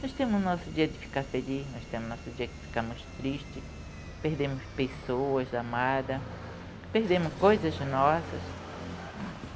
Nós temos o nosso dia de ficar feliz, nós temos o nosso dia que ficamos tristes, perdemos pessoas amadas, perdemos coisas nossas.